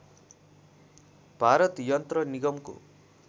भारत यन्त्र निगमको